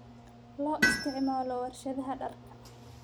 loo isticmaalo warshadaha dharka.